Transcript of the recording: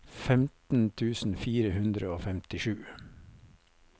femten tusen fire hundre og femtisju